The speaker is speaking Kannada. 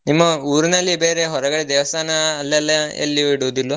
ನಿಮ್ಮ ಊರಿನಲ್ಲಿ ಬೇರೆ ಹೊರಗಡೆ ದೇವಸ್ಥಾನ ಅಲ್ಲೆಲ್ಲ ಎಲ್ಲಿಯೂ ಇಡುದಿಲ್ವಾ?